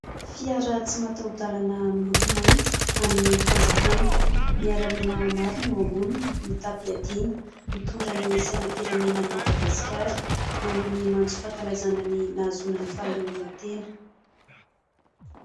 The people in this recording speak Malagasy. Fiara tsy mataoha-dalana miloko mainty, an'ny Fanjakana. Miaramila maro no eo amboniny, mitam-piadiana, mitondra ny sainam-pirenenan'i Madagasikara, maneho ny matso fankalazana ny nahazoana ny fahaleovan-tena.